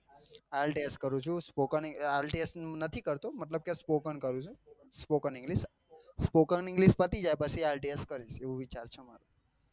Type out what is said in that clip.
આલ્તિએસ કરું છું spoken IELTS નથી કરતો મતલબ કે spoken કરું છું spoken english spoken english પછી આલ્તિએસ કરીશ એવું વિચારું છું મારો